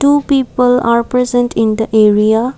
two people are present in the area.